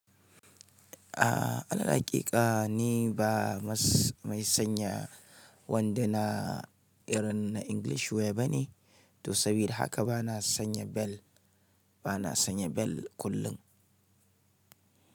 A alal aƙiƙa ni ba mai sanya wanda na irin na English wear bane, to sabida haka ba na sanya bel, ba na sanya bel kullum.